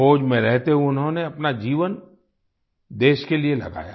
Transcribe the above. फौज में रहते हुए उन्होंने अपना जीवन देश के लिए लगाया